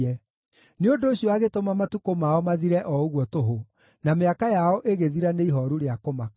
Nĩ ũndũ ũcio agĩtũma matukũ mao mathire o ũguo tũhũ, na mĩaka yao ĩgĩthira nĩ ihooru rĩa kũmaka.